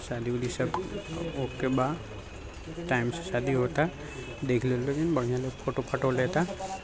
शादी उदी सब ओके बा टाइम से शादी होता देख लोग लोगिन बढ़िया लोग फोटो -फाटो लेता ।